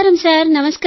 నమస్కారం సార్